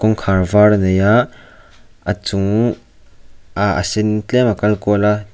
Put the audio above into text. kawngkhar vâr a nei ah a chung ah a sen tlem a kal kual a.